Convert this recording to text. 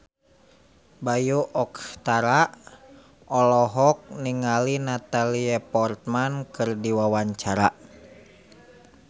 Bayu Octara olohok ningali Natalie Portman keur diwawancara